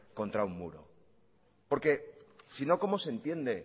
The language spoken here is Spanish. contra un muro porque sino cómo se entiende